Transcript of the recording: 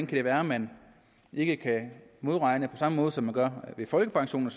kan være at man ikke kan modregne på samme måde som man gør med folkepension og